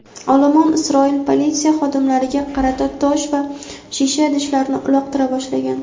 olomon Isroil politsiya xodimlariga qarata tosh va shisha idishlarni uloqtira boshlagan.